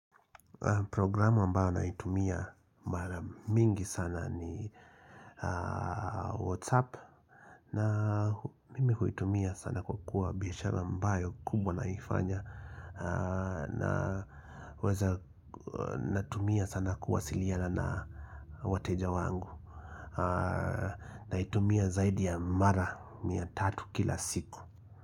Programu ambao naitumia mara mingi sana ni whatsapp na mimi huitumia sana kwa kuwa biashara ambayo naifanya na waza natumia sana kuwasiliana na wateja wangu naitumia zaidi ya mara mia tatu kila siku.